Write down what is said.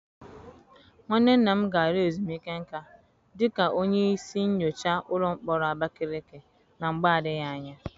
Nwanne nna m ga-ala ezumike nká dịka onye isi nyocha ụlọ mkpọrọ Abakaleke na mgbe adịghị anya.